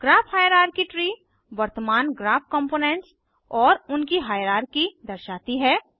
graph hierarchy tree वर्तमान graph components और उनकी हाइरार्की दर्शाती है